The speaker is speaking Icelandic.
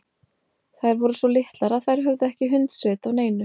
Þær voru svo litlar að þær höfðu ekki hundsvit á neinu.